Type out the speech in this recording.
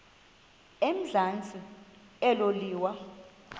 emazantsi elo liwa